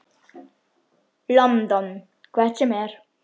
London. hvert sem er.